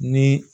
Ni